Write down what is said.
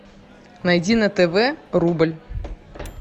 найди на тв рубль